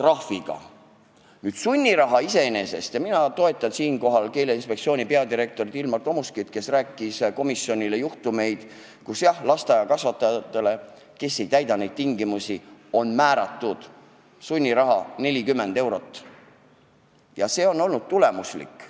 Mis puutub sunnirahasse, siis mina toetan Keeleinspektsiooni peadirektorit Ilmar Tomuskit, kes rääkis komisjonile, et näiteks lasteaiakasvatajatele, kes pole neid tingimusi täitnud, on määratud sunniraha ainult 40 eurot ja see on olnud tulemuslik.